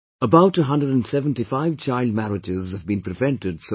About 175 child marriages have been prevented so far